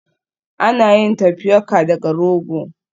Ana yin Tapioca daga rogo